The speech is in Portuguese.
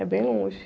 É bem longe.